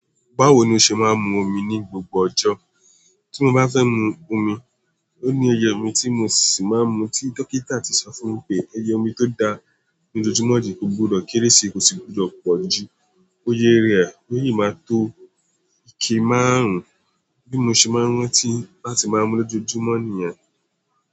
Báwo ni o ṣe máa ń mu omi ní gbogbo ọjọ́? Tí mo bá fẹ́ mu omi, òní iyẹ omi tí mo ṣì máa ń mu tí dókítà ti sọ fún mi pé iyẹ omi tó da ní ojojúmọ́ jù kò gbọdọ̀ kéré sí ko sí gbọdọ̀ pọ̀ jù. Iyẹ rẹ̀ o í máa tó ike márùn-ún bí mo ṣe máa ń rántí láti máa mú lojojúmọ́ ènìyàn.